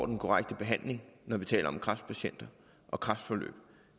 den korrekte behandling når vi taler om kræftpatienter og kræftforløb